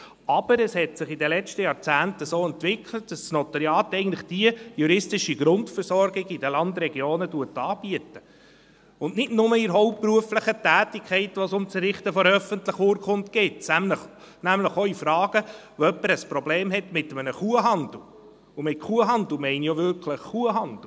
Aber es hat sich den letzten Jahrzehnten so entwickelt, dass das Notariat eigentlich die juristische Grundversorgung in den Landregionen anbietet, und nicht nur in der hauptberuflichen Tätigkeit, wo es um das Errichten von öffentlichen Urkunden geht, sondern auch in Fragen, wo jemand ein Problem mit einem Kuhhandel hat, und mit Kuhhandel meine ich auch wirklich Kuhhandel.